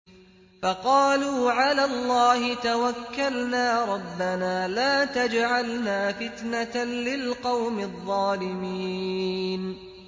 فَقَالُوا عَلَى اللَّهِ تَوَكَّلْنَا رَبَّنَا لَا تَجْعَلْنَا فِتْنَةً لِّلْقَوْمِ الظَّالِمِينَ